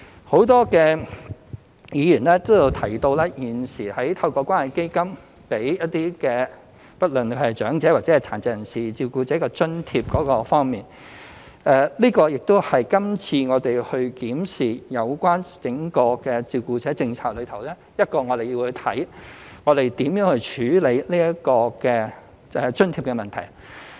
很多議員皆提到，現時透過關愛基金為一些不論是長者或殘疾人士照顧者提供津貼，這類津貼亦是今次我們檢視整個照顧者政策其中一個要看看如何處理的問題。